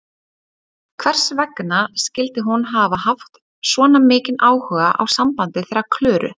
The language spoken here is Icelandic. Hvers vegna skyldi hún hafa haft svona mikinn áhuga á sambandi þeirra Klöru?